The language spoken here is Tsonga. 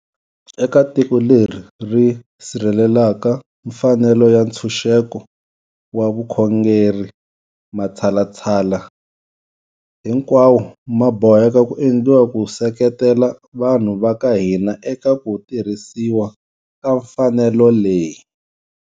Eka tiko leri ri sirhelelaka mfanelo ya ntshunxeko wa vukhongeri, matshalatshala hinkwawo ma boheka ku endliwa ku seketela vanhu va ka hina eka ku tirhisiwa ka mfanelo leyi.